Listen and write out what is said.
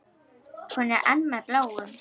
Er hún enn með Bláum?